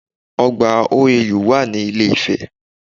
Ọgbà OAU wà ní ilé ifẹ̀